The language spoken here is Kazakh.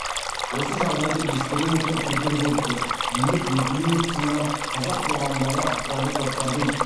осы жағдайды ескере отырып петербургтік билік неплюев ұсынған қазақ қоғамындағы ықпалды топтардың